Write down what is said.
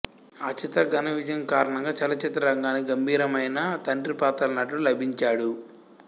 ఆచిత్ర ఘన విజయం కారణంగా చలచిత్ర రంగానికి గంభీరమైన తండిపాత్రల నటుడు లభించాడు